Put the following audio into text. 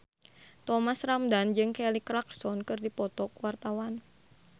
Thomas Ramdhan jeung Kelly Clarkson keur dipoto ku wartawan